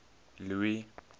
louis